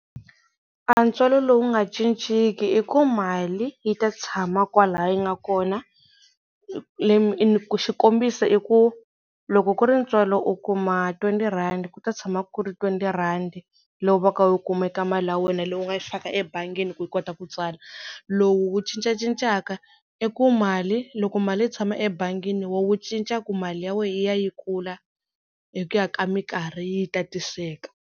A ntswalo lowu nga cinciki i ku mali yi ta tshama kwala yi nga kona leyi xikombisa i ku loko ku ri ntswalo u kuma twenty rhandi ku ta tshama ku ri twenty rhandi leyi u va ka u yi kuma eka mali ya wena leyi u nga yi fika ebangini ku yi kota ku tswala. Lowu cincacincaka i ku mali loko mali yi tshama ebangini wo wu cinca ku mali ya wena yi ya yi kula hi ku ya ka minkarhi yi tatiseka.